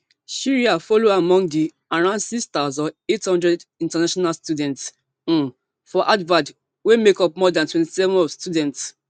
shreya follow among di around six thousand, eight hundred international students um for harvard wey make up more dan twenty-seven of students